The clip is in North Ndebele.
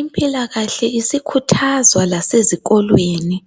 Impilakahle isikhuthazwa lasezikolweni.